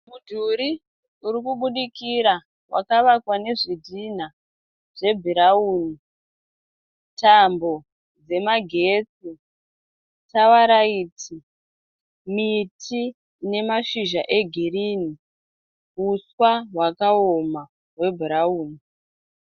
Mudhuri uri kubudikira vakavakwa nezvidhinha zvebhurauni Tambo dzemagetsi Tara idzi miti ine mashizha egirini huswa hwakaoma hwebhurauni